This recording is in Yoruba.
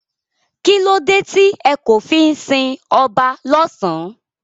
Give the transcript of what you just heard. Kílódé tí e kò fí n si oba lósán?